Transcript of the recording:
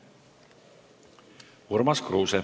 Urmas Kruuse.